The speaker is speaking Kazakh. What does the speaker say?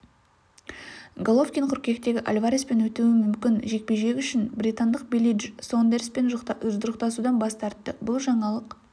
головкин қыркүйектегі альвареспен өтеуі мүмкін жекпе-жек үшін британдық билли дж сондерспен жұдырықтасудан бас тартты бұл жаңалық